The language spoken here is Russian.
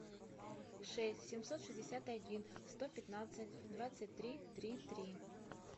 шесть семьсот шестьдесят один сто пятнадцать двадцать три три три